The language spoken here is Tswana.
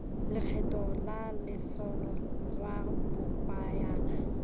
lekgetho la lotseno lwa lobakanyana